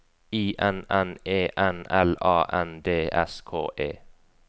I N N E N L A N D S K E